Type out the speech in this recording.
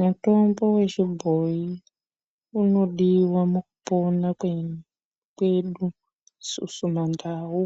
Mitombo yechibhoyi inodiwa mukupona kwedu isusu mandau